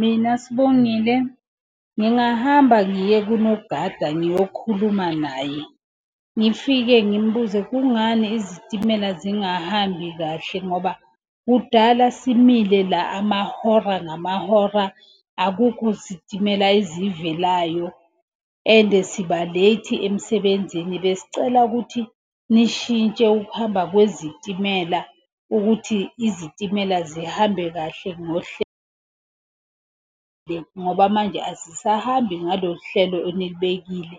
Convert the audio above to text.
Mina, Sibongile, ngingahamba ngiye kunogada ngiyokhuluma naye. Ngifike ngimbuze kungani izitimela zingahambi kahle? Ngoba kudala simile la amahora ngamahora akukho sitimela ezivelayo. And siba late emsebenzini. Besicela ukuthi nishintshe ukuhamba kwezitimela ukuthi izitimela zihambe kahle ngohlelo, ngoba manje azisahambi ngalo hlelo enilibekile.